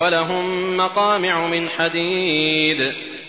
وَلَهُم مَّقَامِعُ مِنْ حَدِيدٍ